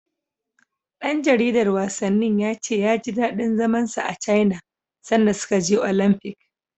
Ɗan jaridar wasannin ya ce ya ji daɗin zaman sa a Caina sanda suka je Olamfik.